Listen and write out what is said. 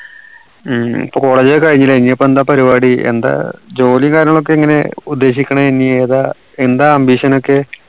ഉം ഇപ്പോ college ഒക്കെ കഴിഞ്ഞില്ലേ ഇനി ഇപ്പോ എന്താ പരിപാടി എന്താ ജോലി കാര്യങ്ങളൊക്കെ എങ്ങനെ ഉദ്ദേശിക്കണേ ഇനി ഏതാ എന്താ ambition ഒക്കെ